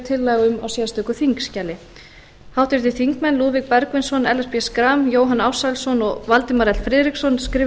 tillaga um í sérstöku þingskjali lúðvík bergvinsson ellert b schram jóhann ársælsson og valdimar l friðriksson skrifa